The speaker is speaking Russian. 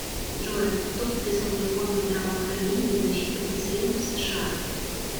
джой кто подписал реформа здравоохранения и защиты пациентов в сша